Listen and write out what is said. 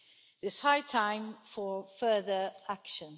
It is high time for further action.